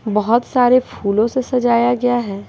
बहुत सारे फूलों से सजाया गया है।